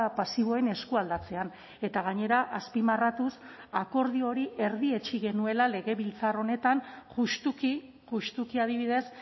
pasiboen eskualdatzean eta gainera azpimarratuz akordio hori erdietsi genuela legebiltzar honetan justuki justuki adibidez